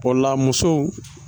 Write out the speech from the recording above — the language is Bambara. Bɔla musow